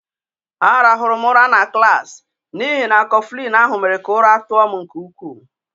A rahụrụ m ụra na klaasị n'ihi na Kọflịn ahụ mere ka ụra tụọ m nke ukwu